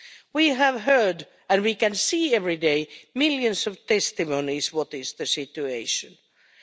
We have heard and we can see every day millions of testimonies about what the situation is.